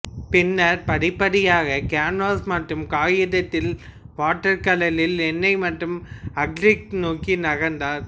பின்னர் படிப்படியாக கேன்வாஸ் மற்றும் காகிதத்தில் வாட்டர்கலரில் எண்ணெய் மற்றும் அக்ரிலிக் நோக்கி நகர்ந்தார்